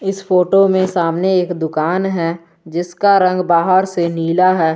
इस फोटो में सामने एक दुकान है जिसका रंग बाहर से नीला है।